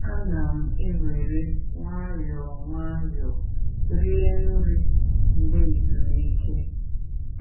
Ana m ewere nwayọọ nwayọọ rie nri mgbe ezumike.